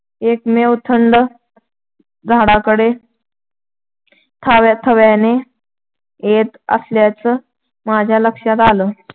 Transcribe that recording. एकमेव थंडं झाडाकडं थव्याथव्यानं येत असल्याचं माझ्या लक्षात आलं.